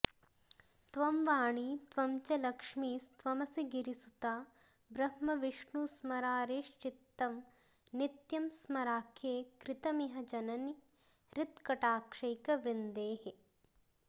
त्वं वाणी त्वं च लक्ष्मीस्त्वमसि गिरिसुता ब्रह्मविष्णुस्मरारेश्चित्तं नित्यं स्मराख्ये कृतमिह जननि हृत्कटाक्षैकवृन्देः